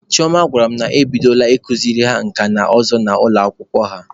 Chioma gwara m na ebidola ikuziri ha nka na ụzụ n'ụlọ akwụkwọ ha.